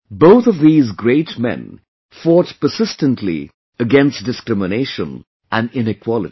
Both of these great men fought persistently against discrimination and inequality